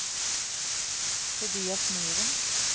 Tobias Myhren